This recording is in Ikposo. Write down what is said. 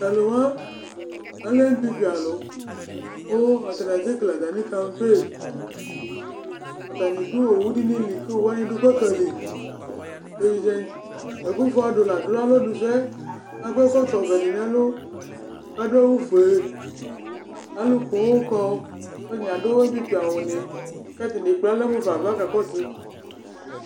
Tʋ alʋ wa alɛ inglisi alʋ ,kʋ atanɩ asɛkele atamɩ kanpe; atanɩ ɖʋ owu ɖɩ nɩ li ,ƙʋ owu wanɩ ɖʋ gbaƙa liAƙɔ ɛkɔtɔ vɛ nʋ ɛlʋ